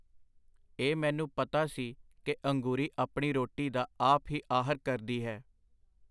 ਇਹ ਮੈਨੂੰ ਪਤਾ ਸੀ ਕਿ ਅੰਗੂਰੀ ਆਪਣੀ ਰੋਟੀ ਦਾ ਆਪ ਹੀ ਆਹਰ ਕਰਦੀ ਹੈ.